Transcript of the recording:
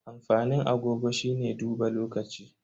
Amfanin agogo shine duba lokaci.